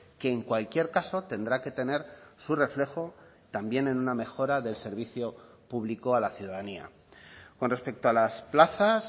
que en cualquier caso tendrá que tener su reflejo también en una mejora del servicio público a la ciudadanía con respecto a las plazas